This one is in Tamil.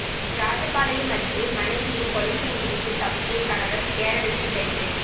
ராஜபாளையம் அருகே மனைவியைக் கொலை செய்துவிட்டு தப்பிய கணவா் கேரளத்தில் கைது